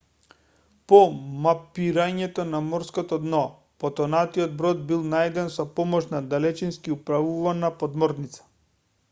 по мапирањето на морското дно потонатиот брод бил најден со помош на далечински управувана подморница